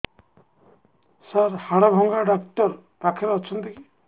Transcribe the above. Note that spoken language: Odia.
ସାର ହାଡଭଙ୍ଗା ଡକ୍ଟର ପାଖରେ ଅଛନ୍ତି କି